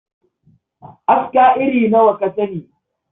Aska iri nawa ka sani?